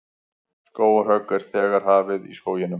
Skógarhögg er þegar hafið í skóginum